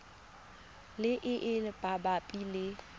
le e e mabapi le